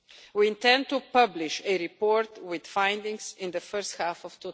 We intend to publish a report with findings in the first half of